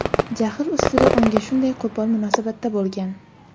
jahl ustida unga shunday qo‘pol munosabatda bo‘lgan.